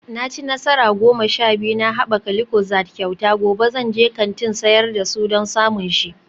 Na ci nasara goma sha biyu na haɓaka lucozade kyauta, gobe zan je kantin sayar da su don samun shi